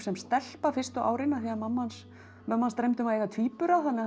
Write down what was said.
sem stelpa fyrstu árin af því að mömmu hans mömmu hans dreymdi um að eiga tvíbura þannig að